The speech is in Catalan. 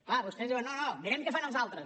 clar vostès diuen no no mirem què fan els altres